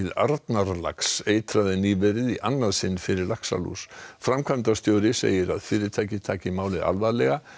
Arnarlax eitraði nýverið í annað sinn fyrir laxalús framkvæmdastjóri segir að fyrirtækið taki málið alvarlega